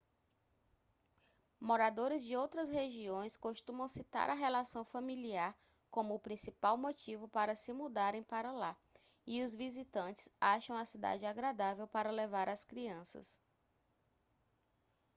moradores de outras regiões costumam citar a relação familiar como o principal motivo para se mudarem para lá e os visitantes acham a cidade agradável para levar as crianças